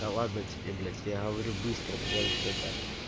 да ладно тебе блять я говорю быстро потому что это